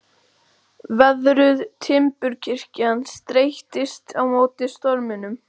Veðruð timburkirkjan streittist á móti storminum.